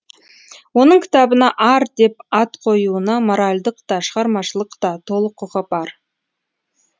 оның кітабына ар деп ат қоюына моральдық та шығармашылық та толық құқы бар